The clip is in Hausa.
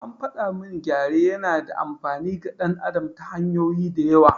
An faɗa min gyare yana da amfani ga ɗan adam ta hanyoyi da yawa.